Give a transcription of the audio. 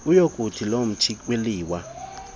uyokuthi lontshi kwiliwa